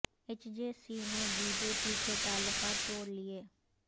ا یچ J C نے B J P سے تعلقا ت تو ڑ لئے